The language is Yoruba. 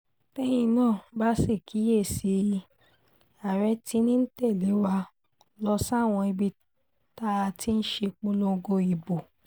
tẹ́yin náà bá sì kíyè sí i àárẹ̀ tí ń tẹ̀lé wa lọ sáwọn ibi tá a ti ṣèpolongo ìbò